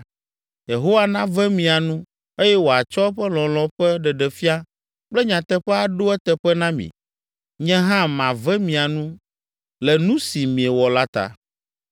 Yehowa nave mia nu eye wòatsɔ eƒe lɔlɔ̃ ƒe ɖeɖefia kple nyateƒe aɖo eteƒe na mi. Nye hã mave mia nu le nu si miewɔ la ta.